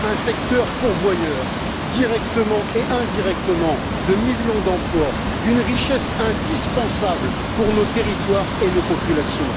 Un secteur pourvoyeur, directement et indirectement, de millions d'emplois, d'une richesse indispensable pour nos territoires et nos populations.